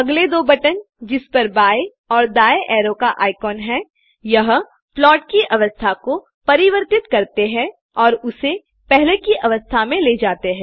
अगले दो बटन जिसपर बाएँ और दायें अरो आइकन हैं यह प्लाट की अवस्था को परिवर्तित करते हैं और उसे पहले की अवस्था में ले जाते हैं